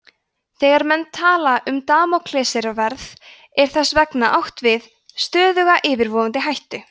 þegar menn tala um damóklesarsverð er þess vegna átt við stöðuga yfirvofandi hættu